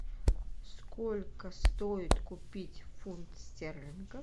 сколько стоит купить фунт стерлингов